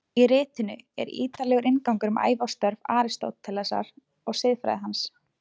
Í ritinu er ítarlegur inngangur um ævi og störf Aristótelesar og siðfræði hans.